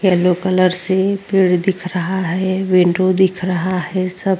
Yellow colour से पेड़ दिख रहा है। विंडो दिख रहा है सब --